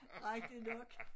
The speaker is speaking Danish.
Ej det lukket